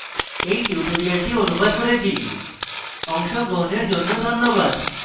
আমি কৌশিক দত্ত এই টিউটোরিয়ালটি অনুবাদ করেছি অংশগ্রহণের জন্য ধন্যবাদ